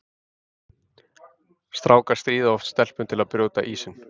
Strákar stríða oft stelpum til að brjóta ísinn.